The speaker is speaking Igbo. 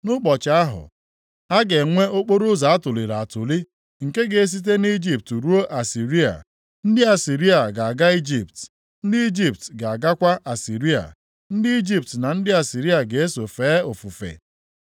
Nʼụbọchị ahụ, a ga-enwe okporoụzọ atụliri atụli nke ga-esite na Ijipt ruo Asịrịa. Ndị Asịrịa ga-aga Ijipt, ndị Ijipt ga-agakwa Asịrịa, ndị Ijipt na ndị Asịrịa ga-eso fee ofufe.